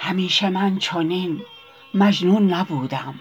همیشه من چنین مجنون نبودم